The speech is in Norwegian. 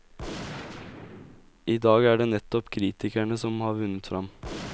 Idag er det nettopp kritikerne som har vunnet fram.